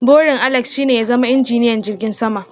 Burin Alex's shine ya zama injiniyan jirgin sama.